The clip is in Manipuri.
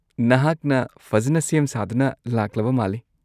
-ꯅꯍꯥꯛꯅ ꯐꯖꯅ ꯁꯦꯝ-ꯁꯥꯗꯨꯅ ꯂꯥꯛꯂꯕ ꯃꯥꯜꯂꯤ꯫